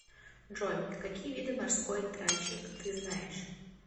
джой какие виды морской тральщик ты знаешь